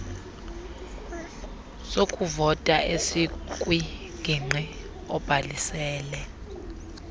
sokuvota esikwingingqi obhalisele